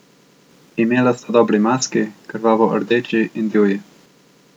Imela sta dobri maski, krvavo rdeči in divji.